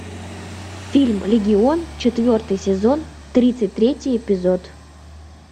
фильм легион четвертый сезон тридцать третий эпизод